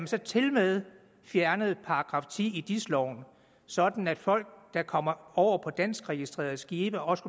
så tilmed fjernet § ti i dis loven sådan at folk der kommer over på danskregistrerede skibe også